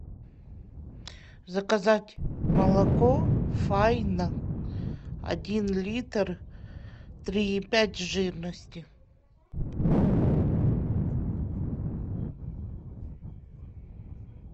заказать молоко файна один литр три и пять жирности